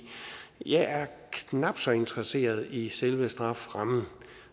jeg er knap så interesseret i selve strafferammen